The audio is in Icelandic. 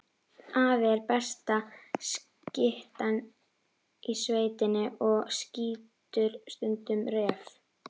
Afi er besta skyttan í sveitinni og skýtur stundum refi.